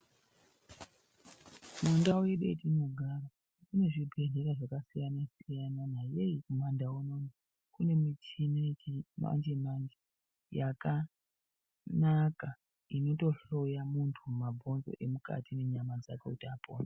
Mundau yedu yatinogara munezvibhehlera zvakasiyanasiyana yei kumandau unono kunemichini yechimanjemanje yakanaka inotohloya muntu mabhonzo emukati nenyama dzake kuti apone.